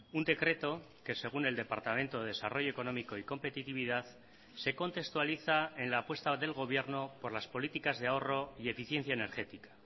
un decreto que según el departamento de desarrollo económico y competitividad se contextualiza en la apuesta del gobierno por las políticas de ahorro y eficiencia energética